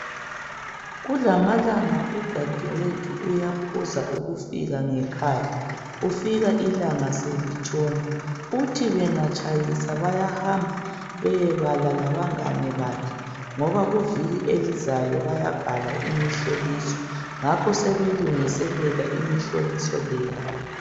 Kulamalanga udadewethu uyaphuza ukufika ngekhaya ufika ilanga selitshona. Uthi bengatshayisa bayahamba beyebala labangane bakhe ngoba kuviki elizayo bayabhala imihloliso ngakho bayabhala imihloliso leyi.